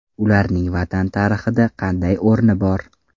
Ularning Vatan tarixida qanday o‘rni bor?